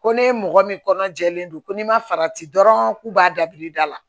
Ko ne mɔgɔ min kɔnɔ jɛlen don ko n'i ma farati dɔrɔn k'u b'a dabil'i da la